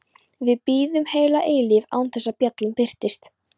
Við biðum heila eilífð án þess að bjallan birtist.